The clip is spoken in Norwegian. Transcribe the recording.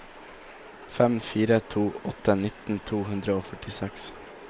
fem fire to åtte nitten to hundre og førtiseks